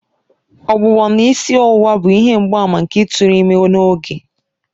Ọgbụgbọ na isi ọwụwa bụ ihe mgbaàmà nke ịtụrụ ime n'oge.